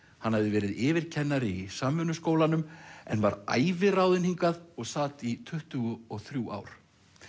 hann hafði verið yfirkennari í Samvinnuskólanum en var æviráðinn hingað og sat í tuttugu og þrjú ár